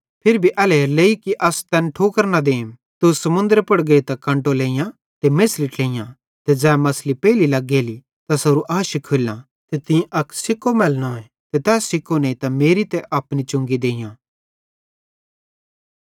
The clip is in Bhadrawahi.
फिरी भी एल्हेरेलेइ कि अस तैन ठोकर न देम तू समुन्दरे पुड़ गेइतां कंटो लेइतां मेछ़ली ट्लेइयां ते ज़ै मछ़ली पेइली लग्गेली तैसारू आशी खोल्लां ते तीं अक सिक्को मैलनोए ते तै सिक्को नेइतां मेरी ते अपनी चुंगी देइयां